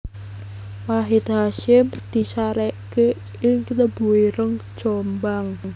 Wahid Hasyim disareke ing Tebuireng Jombang